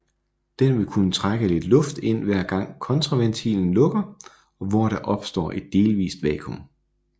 Den vil kunne trække lidt luft ind hver gang kontraventilen lukker og hvor der opstår et delvist vakuum